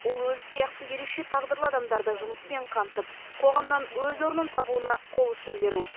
ол өзі сияқты ерекше тағдырлы адамдарды жұмыспен қамтып қоғамнан өз орнын табуына қол ұшын беру